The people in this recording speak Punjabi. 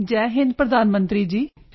ਜੈ ਹਿੰਦ ਪ੍ਰਧਾਨ ਮੰਤਰੀ ਜੀ